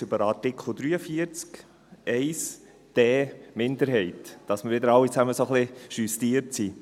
Ich spreche jetzt als Minderheit über Artikel 43 Absatz 1 Buchstabe d, damit wir alle wieder justiert sind.